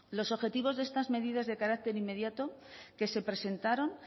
los objetivos de estas medidas de carácter inmediato que se presentaron